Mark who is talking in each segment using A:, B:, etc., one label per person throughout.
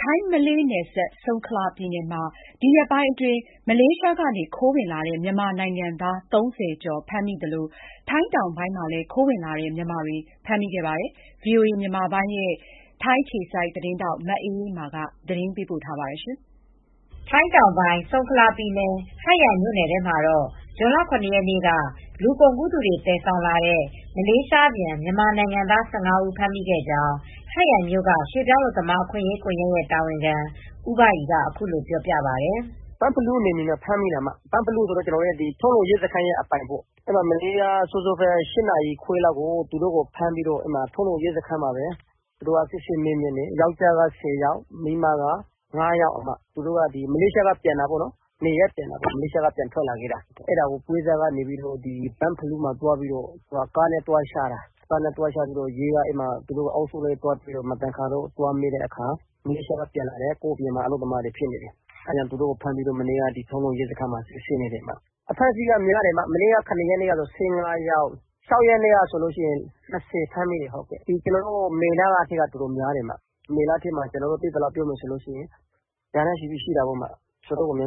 A: ထိုင်း-မလေးနယ်စပ်၊ ဆုံခလာပြည်နယ် ဟတ်ရိုင်မြို့နယ်ထဲမှာ ဒီရက်ထဲမှာပဲ မလေးရှားကနေ ခိုးဝင်လာတဲ့ မြန်မာနိုင်ငံသား ၃၀ကျော်ဖမ်းမိသလို ထိုင်းတောင်ပိုင်းမှာလဲ ခိုးဝင်လာတဲ့ မြန်မာတွေကို ဖမ်းမိနေပါတယ်။ ဒီဇွန်လဆန်းမှာပဲရာဂဏန်းနဲ့ ဖမ်းမိနေပါတယ်။ ဒီသတင်းကို ဗွီအိုအေသတင်းထောက် မအေးအေးမာက ပြောပြပေးပါမယ်။ ထိုင်းတောင်ပိုင်း ဆုံခလာပြည်နယ်၊ ဟတ်ရိုင်မြို့နယ်ထဲမှာတော့ ဇွန်လ ၇ ရက်နေ့က လူကုန်ကူးသူတွေ သယ်ဆောင်လာတဲ့ မလေးရှားပြန် မြန်မာနိုင်ငံသား ၁၅ဦး ဖမ်းမိခဲ့ကြောင်း ဟတ်ရိုင်မြို့က ရွှေပြောင်းအလုပ်သမား အခွင့်ရေးကွန်ယက
B: ် တာဝန်ခံဦးဘရီက အခုလို ပြောပြပါတယ်။ “ဘန့်ဖလူးနယ်မြေမှာ ဖမ်းမိတာ ဘန့်ဖလူးဆိုတာ ထုံးလုံ ရဲစခန်းအပိုင်ပေါ့။ မနေ့က မနက်စောစော ၈နာရီခွဲလောက်က ဖမ်းပြီး ထုံးလုံ ရဲစခန်းမှာ စစ်ဆေးမေးမြန်းတယ်။ ယောင်္ကျားက ၁၀ယောက်၊ အမျိုးသမီးတွေက ၅ယောက်။ သူတို့က မလေးရှားကနေ နေရပ်ပြန်ထွက်လာခဲ့တာ ပွဲစားက ဘန့်ဖလူးမှာ ကားနဲ့ သွားချတာ ၊ သူတို့ အုပ်စုလိုက် များလို့ ရဲက မသင်္ကာလို့ သွားစစ်တာ မလေးရှားကနေ ပြန်လာတဲ့ မြန်မာအလုပ်သမားတွေ ဖြစ်နေတယ်။ သူတ့ိုကို ဖမ်းပြီး မနေ့ကတော့ ထုံးလုံ ရဲစခန်းမှာ စစ်ဆေးနေတယ်။ အဖမ်းအဆီးများတယ် မနေ့က ၁၅ယောက် ဇွန်လ ၆ရက်နေ့မှာ ၂၀ယောက် ဖမ်းမိတယ်။ မေလထဲမှာ အတော်များတယ်၊ မေလထဲမှာ ကျနော်တို့ သိသလောက်က ရာနဲ့ ချီလောက်ရှိတယ်။ အတော်များတယ် မြ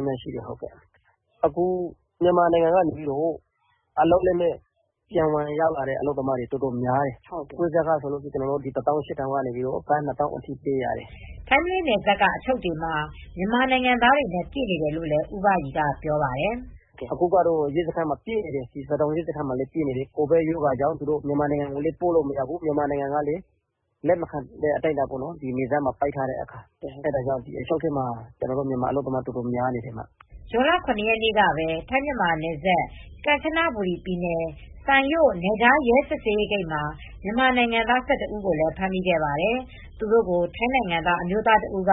B: န်မာနိုင်ငံထဲကနေ ဝင်လာတဲ့ အလုပ်လက်မဲ့တွေ အတော်များတယ်။ ပွဲစားကတော့ ဘတ်ငွေ၁၈၀၀၀ ကနေ ဘတ်ငွေ ၂၀၀၀၀လောက်ထိပေးရတယ်။
A: ” ထိုင်း-မလေးနယ်စပ်က အချုပ်တွေမှာ မြန်မာနိုင်ငံသားတွေနဲ့ ပြည့်နေတယ်လို့လည်း ဦးဘရီက ပြောပါတယ်
B: ။ “အခုစဒေါင်ရဲစခန်းမှာ ပြည့်နေတယ်၊ ကိုဗစ်ကြောင့် မြန်မာနိုင်ငံကိုလည်း ပို့မရဘူး။ မြန်မာနိုင်ငံ ကလည်း နယ်စပ်တွေ ပိတ်နေတေ့ာ လက်မခံနိုင်တဲ့ အတိုင်းအတာရှိတယ်။ အချုပ်ထဲမှာ ကျနော်တို့ မြန်မာအလုပ်သမားတွေ အတော်များနေတယ်။
A: ” ဇွန်လ (၇) ရက်နေ့ကပဲထိုင်းမြန်မာနယ်စပ် ကမ်ချနဘူရီ ပြည်နယ်စိုင်ရို့ နယ်ခြားရဲစစ်ဆေးရေး ဂိတ်မှာ မြန်မာနိုင်ငံသား ၁၁ဦးကို ဖမ်းမိခဲ့ပါတယ်။သူတို့ကို ထိုင်းနိုင်ငံသား အမျိုးသားတစ်ဦးက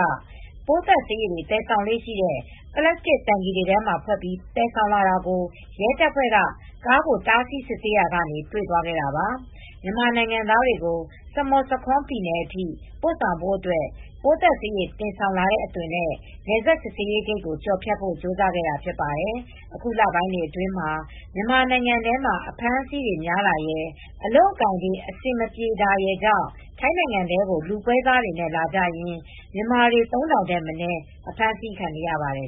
A: ပိုးသတ်ဆေးရည် တွေသယ်ဆောင်လေ့ရှိတဲ့ ပလပ်စတစ်တိုင်ကီ တွေထဲမှာ ဖွတ်ပြီး တင်ဆောင်လာတာကို ရဲတပ်ဖွဲ့က ကားကို တားဆီး စစ်ဆေးခဲ့ရာက တွေ့သွားခဲ့တာပါ။ မြန်မာနိုင်ငံသားတွေကို စမုတ်ဆာခွန် ပြည်နယ်အထိ ပို့ဆောင်ဖို့အတွက်ပိုးသတ်ဆေး ရည် တင်ဆောင်လာတဲ့ အသွင် နဲ့ နယ်စပ် စစ်ဆေးရေးဂိတ်ကို ကျော်ဖြတ်ဖို့ ကြိုးစားခဲ့တာ ဖြစ်ပါတယ်။ အခုလပိုင်းတွေ အတွင်းမှာ မြန်မာနိုင်ငံထဲမှာ အဖမ်းအဆီးတွေများတာရယ် အလုပ်အကိုင် အဆင်မပြေတာရယ်ကြောင့် ထိုင်းနိုင်ငံထဲကို လူပွဲစားတွေနဲ့ လာကြရင်း မြန်မာတွေ ၃၀၀၀ ထက်မနည်း အဖမ်းအဆီး ခံနေရပါတယ်